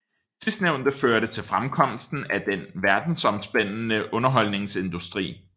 Sidstnævnte førte til fremkomsten af den verdensomspændende underholdningsindustri